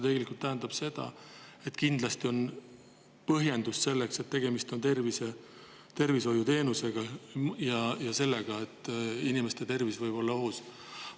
See tähendab seda, et kindlasti on see põhjendatud, et tegemist on tervishoiuteenusega: inimeste tervis võib olla ohus.